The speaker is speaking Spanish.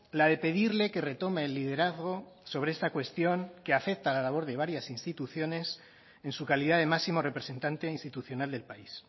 la de pedirle que retome el liderazgo sobre esta cuestión que afecta a la labor de varias instituciones en su calidad de máximo representante institucional del país